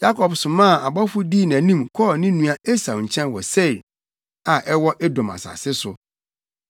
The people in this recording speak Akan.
Yakob somaa abɔfo dii nʼanim kɔɔ ne nua Esau nkyɛn wɔ Seir a ɛwɔ Edom asase so.